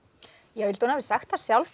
ég held hún hafi sagt það sjálf